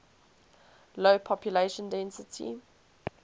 low population density